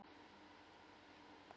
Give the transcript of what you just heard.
Þau eru súr